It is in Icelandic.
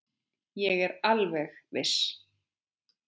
Ég er alveg viss.